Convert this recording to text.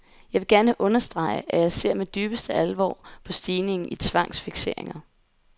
Jeg vil gerne understrege, at jeg ser med dybeste alvor på stigningen i tvangsfikseringer.